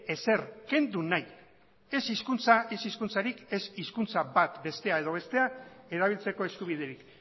ezer kendu nahi ez hizkuntzarik ez hizkuntza bat bata edo bestea erabiltzeko eskubiderik